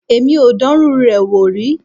Èmi ò dánrú rẹ̀ wò rí.